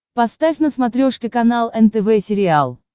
поставь на смотрешке канал нтв сериал